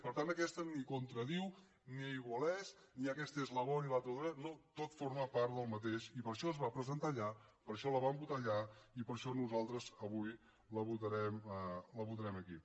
per tant aquesta ni contradiu ni aigualeix ni aquesta és la bona i l’altra la dolenta no tot forma part del mateix i per això es va presentar allà per això la vam votar allà i per això nosaltres avui la votarem aquí